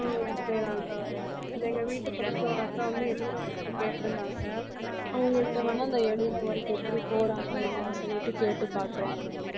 ஆஹ் okay தான்க்கா எங்க வீட்டு பக்கத்துல ஒரு அக்கா வந்து எழுதற work கேட்டிருந்தாங்க. அவங்கள்ட்ட வந்து அந்த எழுதுற work எப்படி போறாங்க என்னன்னு சொல்லிட்டு கேட்டுப் பார்க்கிறேன்